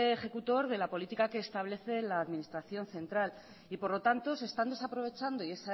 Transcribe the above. ejecutor de la política que establece la administración central y por lo tanto se están desaprovechando y